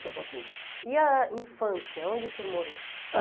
tabacu. E a infância, onde o senhor morou?